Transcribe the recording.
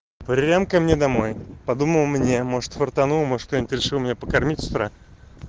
прям ко мне домой подумал мне может фартануло может кто-нибудь решил меня покормить с утра